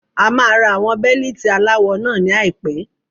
A máa ra àwọn Bẹ́líìtì aláwọ náà ní àìpé.